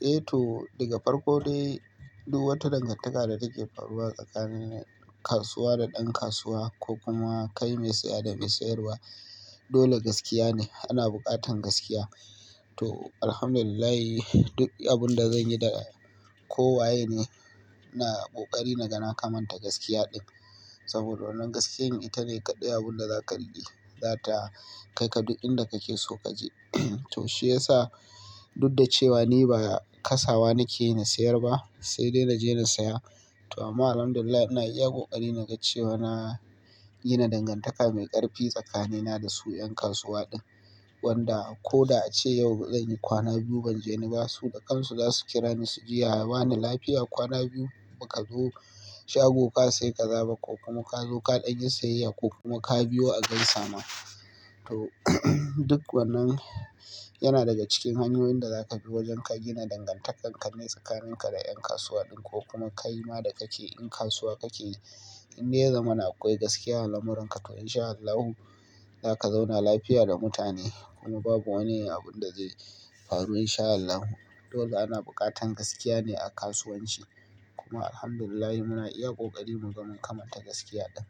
Eh to, daga farko dai duk wata dangantaka da take faruwa tsakanin kasuwa da ɗan kasuwa ko kuma kai mai saya da mai sayarwa, dole gaskiya ne. Ana buƙatan gaskiya. To, Alhamdulillah, duk abin da zan yi da kowa yene ine, ina ƙoƙari na gama kamanta gaskiya ɗin. Saboda wannan gaskiyan ita ne kaɗai abunda zaka riƙe, zata kai ka duk inda kake so kaje. To shiyasa duk da cewa ni ba kasawa nake ina sayar ba, sai dai naje na saya. To amma Alhamdulillah ina iya ƙoƙari naga cewa na gina dangantaka mai ƙarfi tsakanina da su 'yan kasuwa din. Wanda ko da ace yau ba zan yi kwana biyu ban je ni ba, su da kansu zasu kira ni su jiya wane lafiya kwana biyu, baka zo shago ka sai ka zaba ko kuma ka zo kaɗan yi sayayya ko kuma ka biyo a gaisama. To, duk wannan yana daga cikin hanyoyin da zaka bi wajan ka gina dangantakar ka ne tsakanin ka da 'yan kasuwa din ko kuma kayi ma da kake in kasuwa kake. In dai yazaman akwai gaskiya a lamuran ka to in sha Allahu, zaka zauna lafiya da mutane. Kuma babu wani abun da zai faru in sha Allahu. Dole ana buƙatan gaskiya ne a kasuwanci. Kuma Alhamdulillah muna iya ƙoƙari mu zama mu kamanta gaskiya ɗin.